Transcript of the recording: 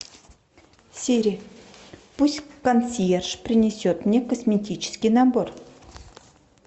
сири пусть консьерж принесет мне косметический набор